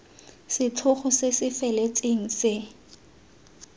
setlhogo se se feletseng se